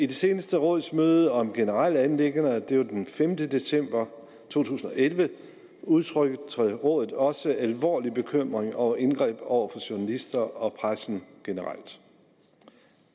det seneste rådsmøde om generelle anliggender det var den femte december to tusind og elleve udtrykte rådet også alvorlig bekymring over indgreb over for journalister og pressen generelt